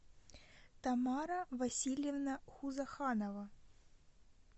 тамара васильевна хузаханова